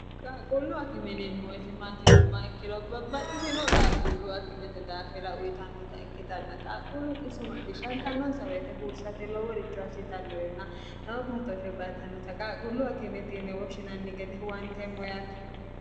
qaaquullu akimeneemmo yete maatinumma ikkelobbabbaxxisino qaaqullu akimete daafira uritannota ikkitanna qaaquullu xiso maccishshantannoonsa weete huursate loo woricho assitannorenna lowo batooshshe baatannota qaaqullu akimetiinne woshshinanni gede huwanteemmo yaate